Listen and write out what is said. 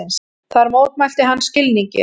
Þar mótmælti hann skilningi